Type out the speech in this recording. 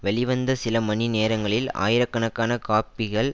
வெளிவந்த சில மணி நேரங்களில் ஆயிரக்கணக்கான காப்பிகள்